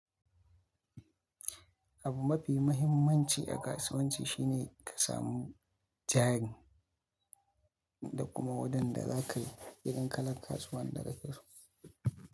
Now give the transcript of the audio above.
Abu mafi mahimmanci a kasuwanci shi ne ka samu jari da kuma wadanda za ka yi irin kalan kasuwar da kake so.